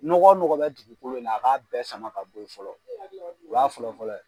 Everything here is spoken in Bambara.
Nɔgɔ nɔgɔ bɛ dugukolo in na a k'a bɛɛ sama ka bɔ ye fɔlɔ u y'a fɔlɔ fɔlɔ ye.